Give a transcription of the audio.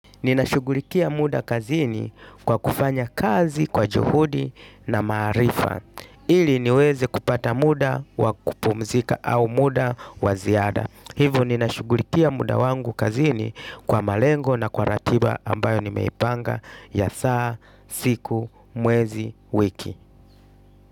Ninashughulikia muda kazini kwa kufanya kazi kwa juhudi na maarifa ili niweze kupata muda wa kupumzika au muda wa ziada hivo ninashughulikia muda wangu kazini kwa malengo na kwa ratiba ambayo nimeipanga ya saa, siku, mwezi, wiki.